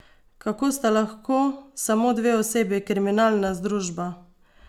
Kako sta lahko samo dve osebi kriminalna združba?